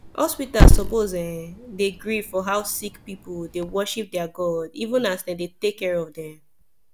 hospitas suppos erm de gree for how sicki pipu dey worship deir god even as dem dey take care of dem